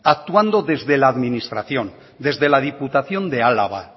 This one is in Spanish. actuando desde la administración desde la diputación de álava